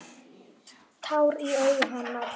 Tár í augum hennar.